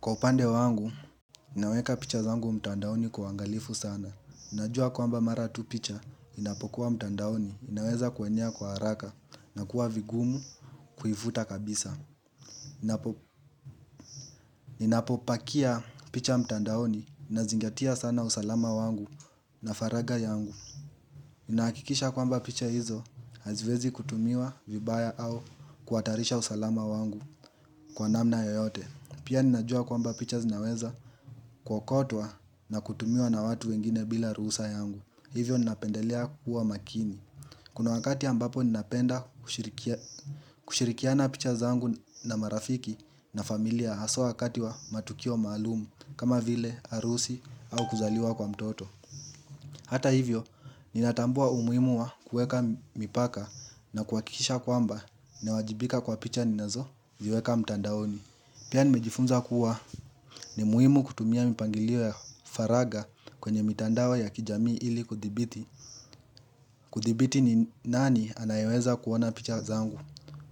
Kwa upande wangu, ninaweka picha zangu mtandaoni kwa uangalifu sana. Najua kwamba mara tu picha, inapokuwa mtandaoni, inaweza kuenea kwa haraka na kuwa vigumu kuifuta kabisa. Inapopakia picha mtandaoni, nazingatia sana usalama wangu na faraga yangu. Nahakikisha kwamba picha hizo, haziwezi kutumiwa vibaya au kuatarisha usalama wangu kwa namna yoyote. Pia ninajua kwamba picha zinaweza kuokotwa na kutumiwa na watu wengine bila ruhusa yangu Hivyo ninapendelea kuwa makini Kuna wakati ambapo ninapenda kushirikiana picha zangu na marafiki na familia Haswa wakati wa matukio maalumu kama vile, harusi au kuzaliwa kwa mtoto Hata hivyo ninatambua umuimu wa kuweka mipaka na kuakikisha kwamba na wajibika kwa picha ninazo viweka mtandaoni Pia nimejifunza kuwa ni muhimu kutumia mipangilio faraga kwenye mitandao ya kijamii ili kudhibiti. Kuthibiti ni nani anayeweza kuona picha zangu.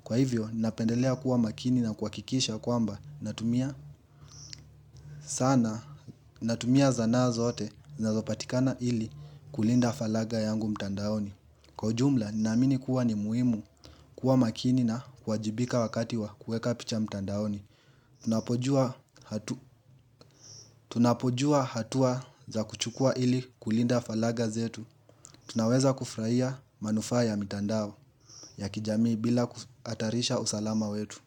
Kwa hivyo, napendelea kuwa makini na kuakikisha kwamba natumia sana, natumia zana zote zinazopatikana ili kulinda faraga yangu mtandaoni. Kwa ujumla, ninaamini kuwa ni muhimu kuwa makini na kuwajibika wakati wa kueka picha mtandaoni Tunapojua hatua za kuchukua ili kulinda falaga zetu Tunaweza kufurahia manufaa ya mtandao ya kijamii bila kuatarisha usalama wetu.